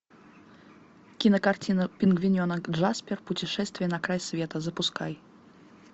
кинокартина пингвиненок джаспер путешествие на край света запускай